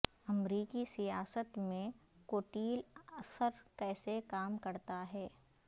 امریکی سیاست میں کوٹیل اثر کیسے کام کرتا ہے